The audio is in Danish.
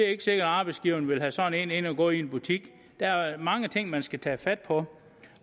ikke sikkert at arbejdsgiveren vil have sådan en til at gå i en butik der er mange ting man skal tage fat på